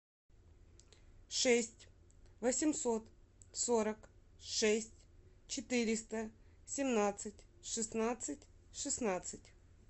шесть восемьсот сорок шесть четыреста семнадцать шестнадцать шестнадцать